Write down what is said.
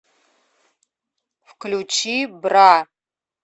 включи бра